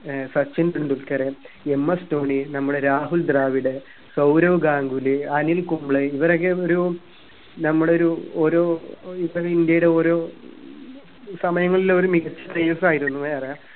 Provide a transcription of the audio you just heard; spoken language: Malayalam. ഏർ സച്ചിൻ ടെണ്ടുല്കർ ms ധോണി നമ്മുടെ രാഹുൽ ദ്രാവിഡ് സൗരവ് ഗാംഗുലി അനിൽ കുംബ്ലെ ഇഅവരൊക്കെ ഒരു നമ്മുടെ ഒരു ഒരു ഇവര് ഇന്ത്യയിൽ ഒരു സമയങ്ങളൊരു മികച്ച players ആയിരുന്നറിയാ